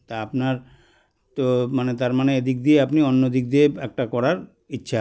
তা আপনার তো মানে তারমানে এদিক দিয়ে আপনি অন্যদিকে দিয়ে একটা করার ইচ্ছা